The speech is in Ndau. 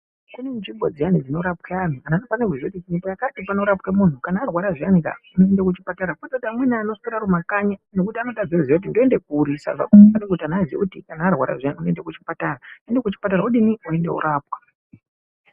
Kune nzvimbo dziya dzinorapwa anhu unofana kuziya kuti nzvimbo yakati inorapwa munhu kana arwara zviyani unoenda kuchipatara kwete kuti amweni anoswera Ariumakanyi nekuti anotama kuti ndoenda kuri skaa kana arwara zviyani unoenda kuchipatara udini oendwa kundorapwa.